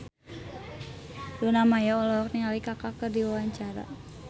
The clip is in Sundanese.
Luna Maya olohok ningali Kaka keur diwawancara